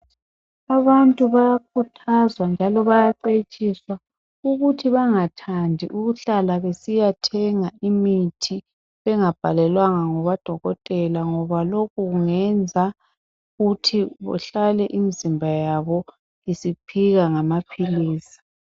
Abantu bayakhuthazwa njalo bayacetshiswa ukuthi bangathandi ukuhlala besiyathenga imithi engabhalelwanga ngudokotela ngoba lokhu kungenza besiyathenga imithi ngudokotela ngoba lokhu kungenza ukuthi kuhlale imizimba yabo isiphila ngamaphilizi.